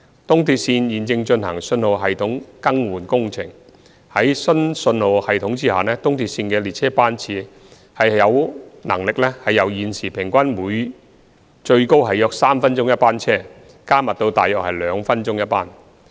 東鐵線現正進行信號系統更換工程，在新信號系統下，東鐵線的列車班次有能力由現時平均最高約3分鐘一班車，加密至大約2分鐘一班。